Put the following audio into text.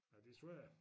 Ja det svært